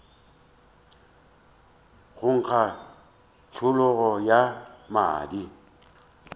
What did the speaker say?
go nkga tšhologo ya madi